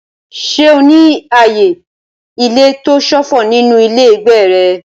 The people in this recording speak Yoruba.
Ṣé o ní ààyè ilé tó ṣófo nínú ilé ìgbé rẹ?